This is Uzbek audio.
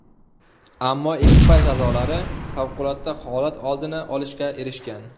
Ammo ekipaj a’zolari favqulodda holat oldini olishga erishgan.